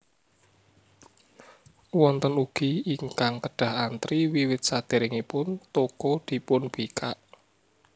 Wonten ugi ingkang kedah antri wiwit saderengipun toko dipunbikak